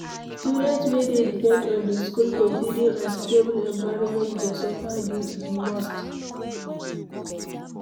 Students wey dey depend on di school for feeding and stable environment go suffer di most